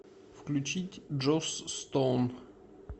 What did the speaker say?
включить джосс стоун